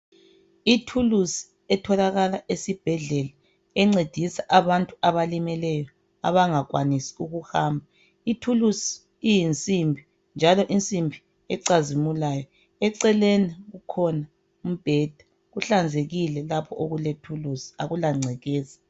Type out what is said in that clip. Ithulusi etholakala esibhedlela encedisa abantu abalimeleyo abangakwanisi ukuhamba ithulusi iyinsimbi njalo insimbi ecazimulayo eceleni kukhona umbheda kuhlanzekile lapho okulethulusi akula ngcekeza